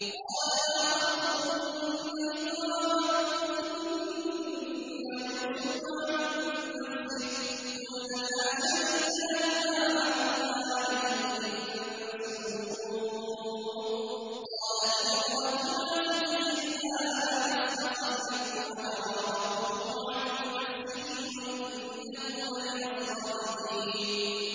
قَالَ مَا خَطْبُكُنَّ إِذْ رَاوَدتُّنَّ يُوسُفَ عَن نَّفْسِهِ ۚ قُلْنَ حَاشَ لِلَّهِ مَا عَلِمْنَا عَلَيْهِ مِن سُوءٍ ۚ قَالَتِ امْرَأَتُ الْعَزِيزِ الْآنَ حَصْحَصَ الْحَقُّ أَنَا رَاوَدتُّهُ عَن نَّفْسِهِ وَإِنَّهُ لَمِنَ الصَّادِقِينَ